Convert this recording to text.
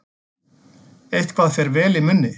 Eitthvað fer vel í munni